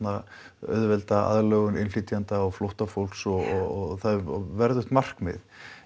auðvelda aðlögun innflytjenda og flóttafólks og það er verðugt markmið